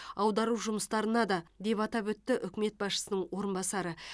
аудару жұмыстарына да деп атап өтті үкімет басшысының орынбасары